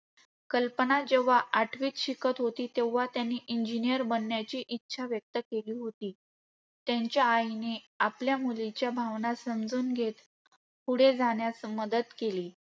कल्पना जेव्हा आठवीत शिकत होती, तेव्हा त्यांनी engineer बनण्याची इच्छा व्यक्त केली होती. त्यांच्या आईने आपल्या मुलीच्या भावना समजून घेत पुढे जाण्यास मदत केली.